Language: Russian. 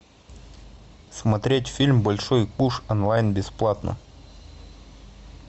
смотреть фильм большой куш онлайн бесплатно